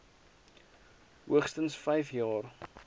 hoogstens vyf jaar